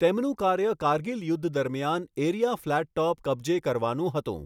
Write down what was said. તેમનું કાર્ય કારગિલ યુદ્ધ દરમિયાન એરિયા ફ્લેટ ટોપ કબ્જે કરવાનું હતું.